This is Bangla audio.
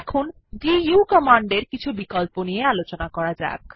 এখন দু কমান্ডের কিছু বিকল্প নিয়ে আলোচনা করা যাক